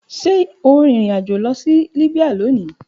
Ṣe o rin irin ajo lọ si Libya loni